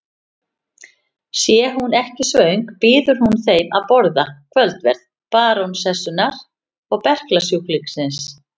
Sé hún ekki svöng býður hún þeim að borða kvöldverð barónessunnar og berklasjúklingsins.